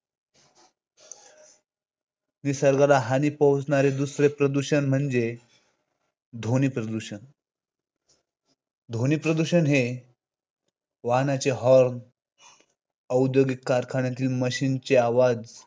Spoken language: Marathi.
निसर्गाला हानी पोहोचवणारे दुसरे प्रदूषण ध्वनिप्रदूषण ध्वनिप्रदूषण हे वाहनांचे horn, औद्योगिक कारखान्यातील machine चे आवाज,